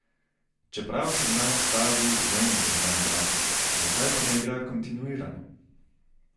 Čeprav sem nanj stavil, vem, da zna igrati, zakaj pa ne igra kontinuirano?